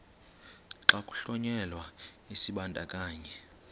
xa kuhlonyelwa isibandakanyi